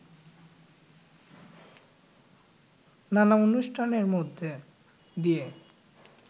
নানা অনুষ্ঠানের মধ্যে দিয়ে